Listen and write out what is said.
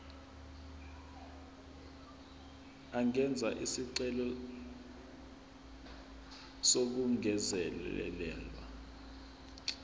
angenza isicelo sokungezelelwa